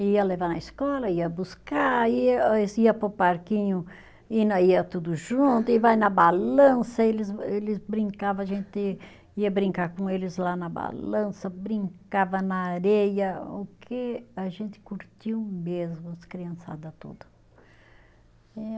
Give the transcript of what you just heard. Ia levar na escola, ia buscar, ia nós ia para o parquinho, e nós ia tudo junto, e vai na balança, eles eles brincava, a gente ia brincar com eles lá na balança, brincava na areia, o que a gente curtiu mesmo, as criançada tudo.